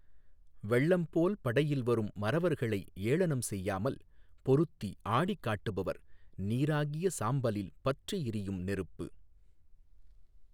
வெள்ளம் போல் படையில் வரும் மறவர்களை ஏளனம் செய்யாமல், பொருத்தி, ஆடிக் காட்டுபவர் நீறாகிய சாம்பலில் பற்றி எரியும் நெருப்பு